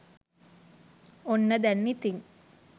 ඔන්න දැන් ඉතින්